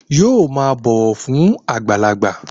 Yóò máa bọ̀wọ̀ fún àgbàlagbà